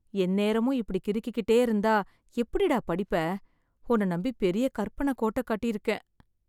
எந்நேரமும் இப்டி கிறுக்கிட்டே இருந்தா, எப்படிடா படிப்ப...உன்ன நம்பி பெரிய கற்பனக்கோட்ட கட்டிருக்கேன்